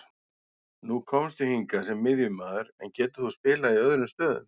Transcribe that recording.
Nú komstu hingað sem miðjumaður, en getur þú spilað í öðrum stöðum?